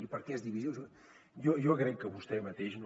per què és divisiu jo crec que vostè mateix no